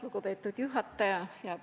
Lugupeetud juhataja!